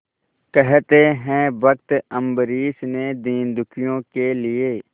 कहते हैं भक्त अम्बरीश ने दीनदुखियों के लिए